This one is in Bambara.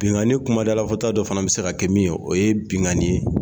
Binnkanni kumadalafɔta dɔ fana bɛ se ka kɛ min ye o ye binnkanni